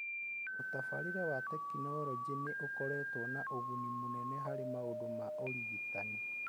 Ũtabarĩre wa tekinolonjĩ nĩ ũkoretwo na ũguni mũnene harĩ maũndũ ma ũrigitani.